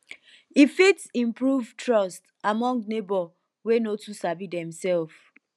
e fit improve trust among neibor wey no too sabi demself